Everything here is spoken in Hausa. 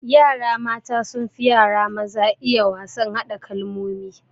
Yara mata sunfi yara maza iya wasan hada kalmomi